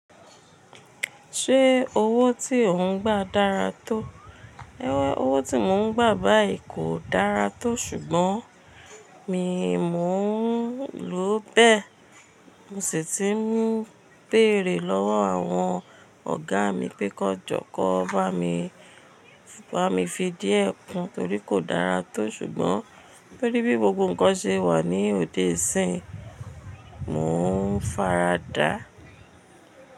Ṣé owó tí ò ń gbà dára tó? Owó tí mò ń gbà báyìí kò dára tó ṣùgbọ́n mi mò ń lò ó bẹ́ẹ̀. Mo sì ti ń béèrè lọ́wọ́ àwọn ọ̀gá mi pé kí wọ́n jọ, kí wọ́n bá mi fi díẹ̀ kun torí kò dára tó ṣùgbọ́n torí bí gbogbo ǹkan ṣe wà ní òde isín, mò ń fara dàa.